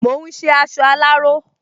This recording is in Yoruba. Mò ún ṣe aṣọ aláró